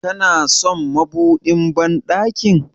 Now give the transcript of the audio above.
Kana son madubin banɗakin?